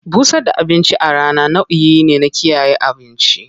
Busar da abinci a rana nau'i ne na kiyaye abinci.